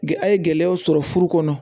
A ye gɛlɛyaw sɔrɔ furu kɔnɔ